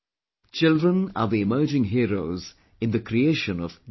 Children are the emerging heroes in the creation of new India